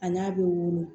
A n'a bɛ wolo